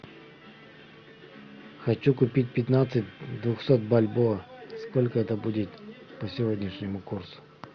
хочу купить пятнадцать двухсот бальбоа сколько это будет по сегодняшнему курсу